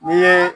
N'i ye